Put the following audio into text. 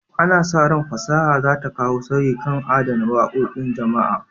Ana sa ran fasaha za ta kawo sauyi kan adana wakokin jama'a.